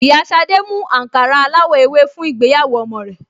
Ìyá Ṣadé mú àǹkárá aláwọ̀ ewé fún ìgbéyàwó ọmọ rẹ̀